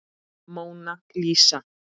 Móna Lísa.